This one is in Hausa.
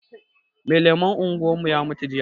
Mai lemon unguwarmu ya mutu jiya